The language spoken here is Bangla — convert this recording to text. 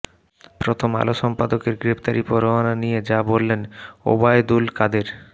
প্রথম আলো সম্পাদকের গ্রেফতারি পরোয়ানা নিয়ে যা বললেন ওবায়দুল কাদের